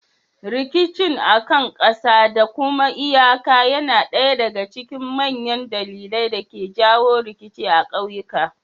Rikicin akan ƙasa da kuma iyaka yana ɗaya daga cikin manyan dalilan da ke jawo rikici a ƙauyuka.